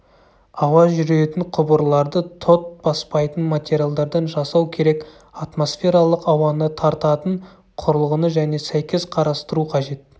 ауа жүретін құбырларды тот баспайтын материалдардан жасау керек атмосфералық ауаны тартатын құрылғыны және сәйкес қарастыру қажет